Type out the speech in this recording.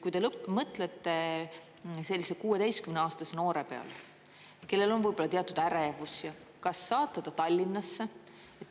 Kui te mõtlete sellise 16-aastase noore peale, kellel on võib-olla teatud ärevus, kas saata ta Tallinnasse?